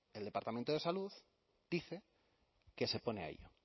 el departamento de salud dice que se pone a ello